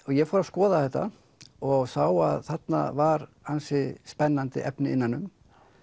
ég fór að skoða þetta og sá að þarna var ansi spennandi efni innan um